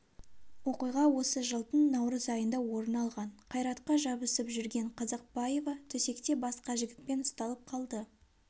оқиға осы жылдың наурыз айында орын алған қайратқа жабысып жүрген қазақбаева төсекте басқа жігітпен ұсталып қалды